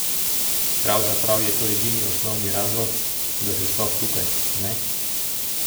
Pravzaprav je to edini in osnovni razlog, da si sploh tukaj, ne?